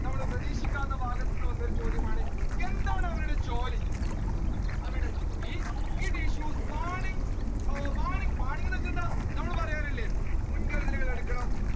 നമ്മൾ പ്രതിഷിക്കാത്ത ഭാഗത്തു നിന്ന് വന്ന ഒരു ചോദ്യമാണ് എന്താണ് അവരുടെ ജോലി അവരുടെ ജോലി it issues warning, warning, warning എന്ന് വെച്ചാൽ എന്താണ് നമ്മൾ പറയാറില്ലേ മുൻകരുതലുകൾ എടുക്കണം